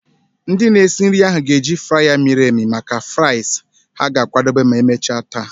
Ndị na-esi nri ahụ ga-eji fryer miri emi maka fries ha ga-akwadebe ma emechaa taa.